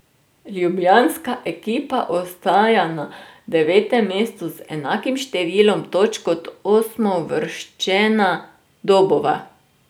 Ljubljanska ekipa ostaja na devetem mestu z enakim številom točk kot osmouvrščena Dobova.